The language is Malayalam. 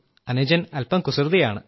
അനുജൻ അല്പം കുസൃതിയാണ്